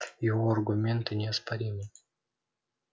его аргументы неоспоримы